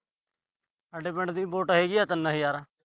ਸਾਡੇ ਪਿੰਡ ਦੀ ਵੋਟ ਹੈਗੀ ਆ ਤਿੰਨ ਹਜਾਰ।